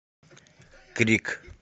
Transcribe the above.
крик